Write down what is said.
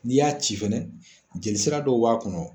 N'i y'a ci fɛnɛ jelisira dɔw b'a kɔnɔ.